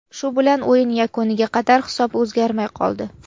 Shu bilan o‘yin yakuniga qadar hisob o‘zgarmay qoldi.